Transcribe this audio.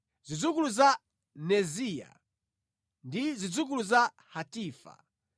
Zidzukulu za Neziya, ndi zidzukulu za Hatifa.